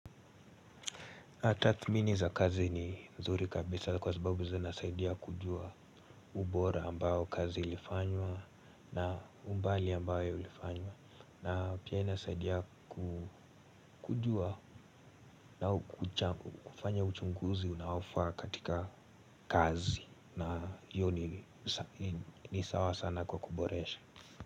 Tathmini za kazi ni mzuri kabisa kwa sababu zinasaidia kujua ubora ambao kazi ilifanywa na umbali ambayo ilifanywa. Na pia inasaidia kujua na kufanya uchunguzi unaofaa katika kazi na hiyo ni ni sawa sana kwa kuboresha.